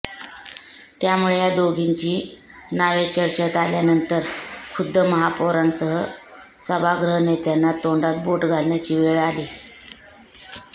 त्यामुळे या दोघींची नावे चर्चेत आल्यानंतर खुद्द महापौरांसह सभागृहनेत्यांना तोंडात बोट घालण्याची वेळ आली